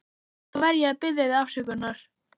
Þá verð ég að biðja þig afsökunar.